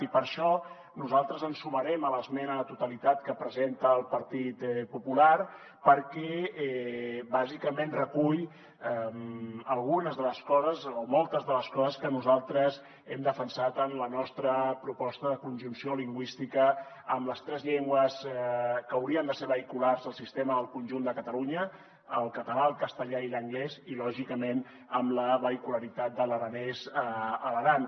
i per això nosaltres ens sumarem a l’esmena a la totalitat que presenta el partit popular perquè bàsicament recull moltes de les coses que nosaltres hem defensat en la nostra proposta de conjunció lingüística amb les tres llengües que haurien de ser vehiculars al sistema del conjunt de catalunya el català el castellà i l’anglès i lògicament amb la vehicularitat de l’aranès a l’aran